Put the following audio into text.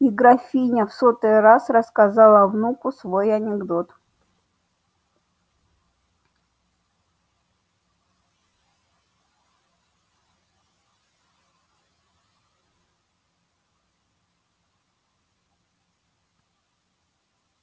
и графиня в сотый раз рассказала внуку свой анекдот